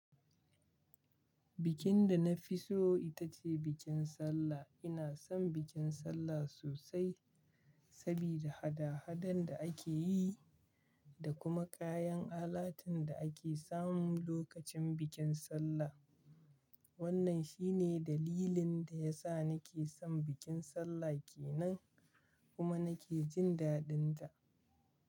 Bikin da na fi so ita ce bikin Sallah. Ina son bikin Sallah sosai sabida hada-hadan da ake yi da kuma kayan alatu da ake samu lokacin bikin Sallah. Wannan shi ne dalilin da ya sa nake son bikin Sallah ƙe nan kuma nake jin dadin ta.